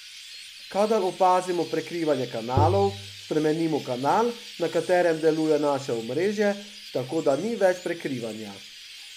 Kadar opazimo prekrivanje kanalov, spremenimo kanal, na katerem deluje naše omrežje, tako da ni več prekrivanja.